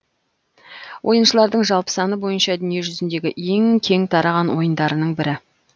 ойыншылардың жалпы саны бойынша дүниежүзіндегі ең кең тараған ойындарының бірі